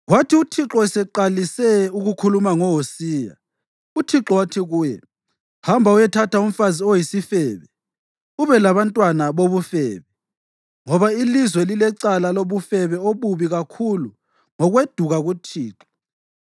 Kwathi uThixo eseqalise ukukhuluma ngoHosiya, uThixo wathi kuye, “Hamba uyethatha umfazi oyisifebe ubelabantwana bobufebe, ngoba ilizwe lilecala lobufebe obubi kakhulu ngokweduka kuThixo.”